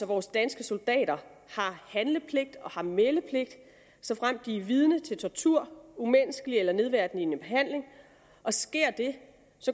vores danske soldater har handle og meldepligt såfremt de er vidne til tortur umenneskelig eller nedværdigende behandling og sker det